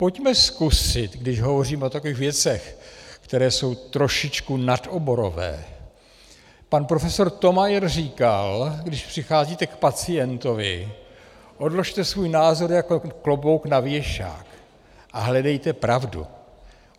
Pojďme zkusit, když hovoříme o takových věcech, které jsou trošičku nadoborové - pan profesor Thomayer říkal, když přicházíte k pacientovi, odložte svůj názor jako klobouk na věšák a hledejte pravdu.